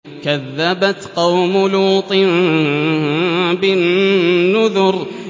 كَذَّبَتْ قَوْمُ لُوطٍ بِالنُّذُرِ